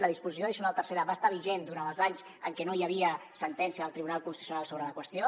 la disposició addicional tercera va estar vigent durant els anys en què no hi havia sentència del tribunal constitucional sobre la qüestió